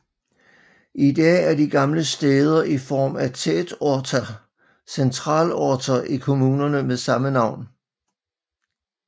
I dag er de gamle stæder i form af tätorter centralorter i kommunerne med samme navn